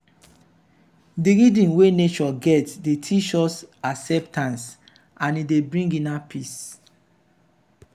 dey rhythm wey nature get dey teach us acceptance and e dey bring inner peace.